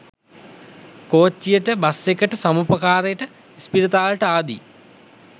කෝච්චියට bus එකට සමුපකාරේට ඉස්පිරිතාලෙට ආදී